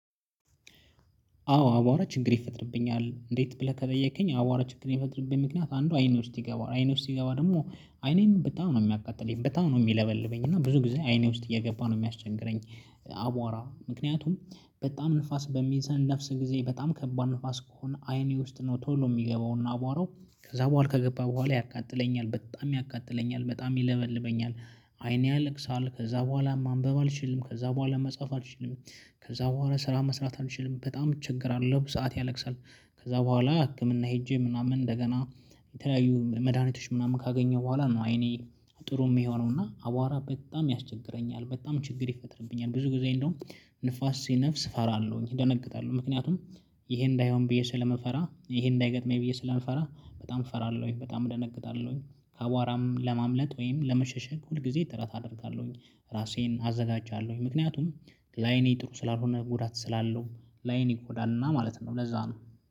አዎ አቧራ ችግር ይፈጥርብኛል እንዴት ብለህ ከጠየከኝ አቧራ ችግር የሚፈጥርብኝ ምክንያት አንዱ አይኔ ውስጥ ይገባል አይኔ ውስጥ ሲገባ ደግሞ አይኔን በጣም ነው የሚያቃጥለኝ በጣም ነው የሚለበልበኝ እና ብዙ ጊዜ አይኔ ውስጥ እየገባ ነው የሚያስቸግረኝ። አቧራ ምክንያቱም በጣም ንፋስ በሚይዘን ነፍስ ጊዜ በጣም ከባድ ንፋስ ከሆነ አይኔ ውስጥ ነው ቶሎ የሚገባው እና አቧራው ከዛ በኋላ ከገባ በኋላ ያቃጥለኛል በጣም ያቃጥለኛል በጣም ይለበልበኛል። አይኔ ያለቅሳል ከዛ በኋላ ማንበብ አልችልም ከዛ በኋላ መጻፍ አልችልም። ከዛ በኋላ ስራ መስራት አልችልም በጣም እቸገራለሁ ሰዓት ያለቅሳል። ከዛ በኋላ ህክምና ሄጄ ምናምን እንደገና። የተለያዩ መድኃኒቶች ምናምን ካገኘው በኋላ ነው አይኔ ጥሩ የሚሆነው። እና አቧራ በጣም ያስቸግረኛል በጣም ችግር ይፈጥርብኛል። ብዙ ጊዜ እንደውም ንፋስ ሲነፍስ እፈራለሁኝ እደነግጣለሁ። ምክንያቱም ይሄ እንዳይሆን ብዬ ስለምፈራ ይሄ እንዳይገጥመኝ ብዬ ስለምፈራ። በጣም እፈራለሁኝ በጣም እደነግጣለሁኝ። ከአቧራም ለማምለጥ ወይም ለመሸሸግ ሁልጊዜ ጥረት አደርጋለሁኝ። ራሴን አዘጋጃለሁኝ። ምክንያቱም ላይኔ ጥሩ ስላልሆነ ጉዳት ስላለው። ላይኔ ይጎዳል እና ማለት ነው ለዛ ነው።